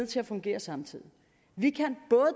til at fungere samtidig vi kan